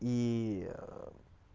и